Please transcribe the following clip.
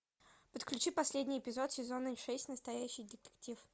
подключи последний эпизод сезона шесть настоящий детектив